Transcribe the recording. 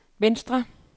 venstre